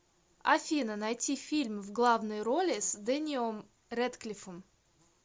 афина найти фильм в главной роли с дэниом редклифом